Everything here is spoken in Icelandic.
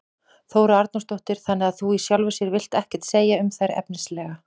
Þóra Arnórsdóttir: Þannig að þú í sjálfu sér vilt ekkert segja um þær efnislega?